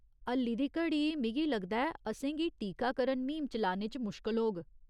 हल्ली दी घड़ी, मिगी लगदा ऐ, असेंगी टीकाकरण म्हीम चलाने च मुश्कल होग